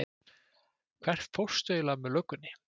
Hvert fórstu eiginlega með löggunni?